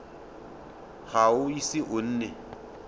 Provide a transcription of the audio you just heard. ga o ise o nne